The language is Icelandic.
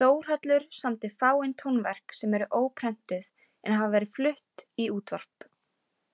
Þórhallur samdi fáein tónverk sem eru óprentuð en hafa verið flutt í útvarp.